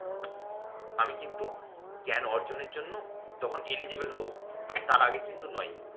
আমি কিন্তু জ্ঞান অর্জনের জন্য তখন eligible হবো, তার আগে কিন্তু নয়।